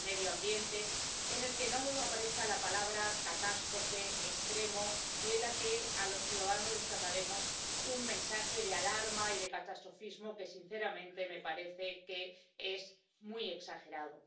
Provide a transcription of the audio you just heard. medio ambiente en el que no hayan aparecido las palabras catástrofe, extremo, y en el que a los ciudadanos no les hayamos trasladado un mensaje de alarma y de catastrofismo que, sinceramente, me parece que es muy exagerado.